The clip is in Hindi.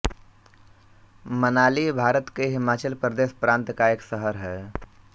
मनाली भारत के हिमाचल प्रदेश प्रान्त का एक शहर है